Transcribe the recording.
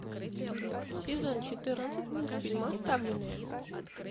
сезон четырнадцать мультфильма оставленные